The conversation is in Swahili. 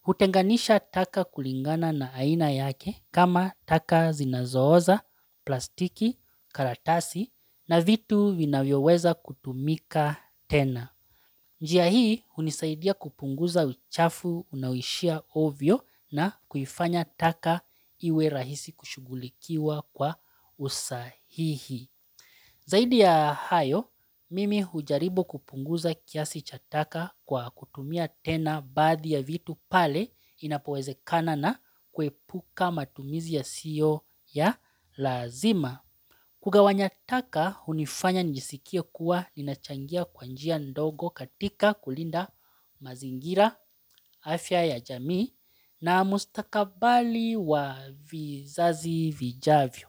Hutenganisha taka kulingana na aina yake kama taka zinazooza, plastiki, karatasi na vitu vinavyoweza kutumika tena. Njia hii hunisaidia kupunguza uchafu unaoishia ovyo na kuifanya taka iwe rahisi kushughulikiwa kwa usahihi. Zaidi ya hayo, mimi hujaribu kupunguza kiasi cha taka kwa kutumia tena baadhi ya vitu pale inapowezekana na kuepuka matumizi yasiyo ya lazima. Kugawanya taka hunifanya nijisikie kuwa ninachangia kwa njia ndogo katika kulinda mazingira, afya ya jamii na mustakabali wa vizazi vijavyo.